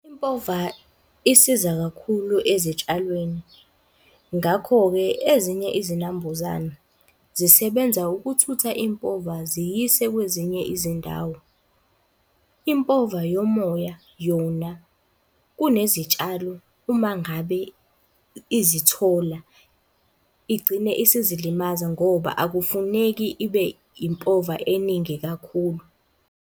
Impova isiza kakhulu ezitshalweni. Ngakho-ke ezinye izinambuzane zisebenza ukuthutha impova ziyise kwezinye izindawo. Impova yomoya yona kunezitshalo uma ngabe izithola, igcine isizilimaza ngoba akufuneki ibe impova eningi kakhulu.